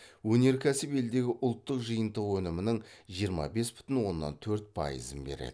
өнеркәсіп елдегі ұлттық жиынтық өнімінің жиырма бес бүтін оннан төрт пайызын береді